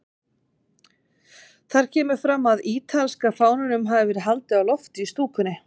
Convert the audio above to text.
Þar kemur fram að ítalska fánanum hafi verið haldið á lofti í stúkunni.